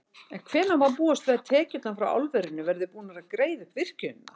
En hvenær má búast við að tekjurnar frá álverinu verði búnar að greiða upp virkjunina?